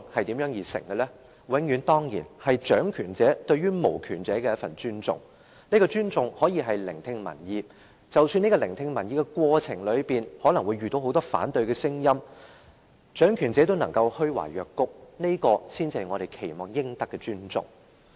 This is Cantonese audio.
當然，永遠是掌權者對無權者的一份尊重，這份尊重可以是聆聽民意，而即使在聆聽民意的過程中，可能會聽到很多反對的聲音，但掌權者若仍然能夠虛懷若谷，這才是我們期望獲得的尊重。